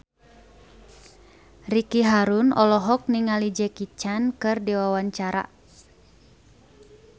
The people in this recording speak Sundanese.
Ricky Harun olohok ningali Jackie Chan keur diwawancara